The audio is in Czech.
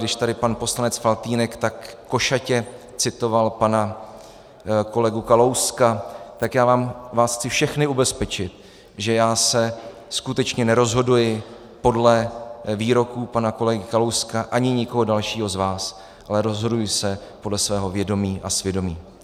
Když tady pan poslanec Faltýnek tak košatě citoval pana kolegu Kalouska, tak já vás chci všechny ubezpečit, že já se skutečně nerozhoduji podle výroků pana kolegy Kalouska ani nikoho dalšího z vás, ale rozhoduji se podle svého vědomí a svědomí.